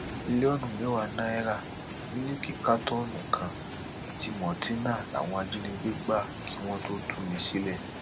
mílíọnù mẹwàá náírà mílíìkì kátọọnù kan àti maltina làwọn ajínigbé gbà kí wọn tóó tú mi sílẹ